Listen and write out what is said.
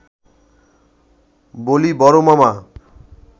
বলি–বড় মামা